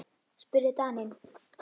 spurði Daninn.